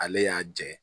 Ale y'a jɛ